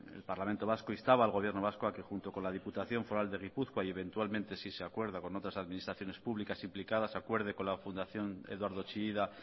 el parlamento vasco instaba al gobierno vasco a que junto con la diputación foral de gipuzkoa y eventualmente si se acuerda con otras administraciones públicas implicadas acuerde con la fundación eduardo chillida